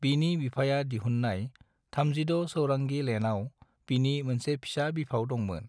बिनि बिफाया दिहुननाय 36 चौरंगी लेनआव बिनि मोनसे फिसा बिफाव दंमोन।